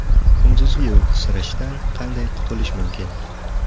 Kunduzgi uyqusirashdan qanday qutulish mumkin?.